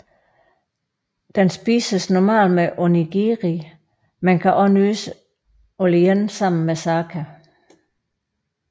Den spises normalt med onigiri men kan også nydes alene sammen med sake